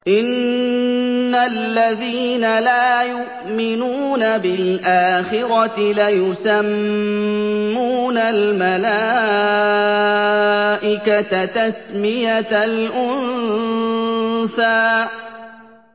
إِنَّ الَّذِينَ لَا يُؤْمِنُونَ بِالْآخِرَةِ لَيُسَمُّونَ الْمَلَائِكَةَ تَسْمِيَةَ الْأُنثَىٰ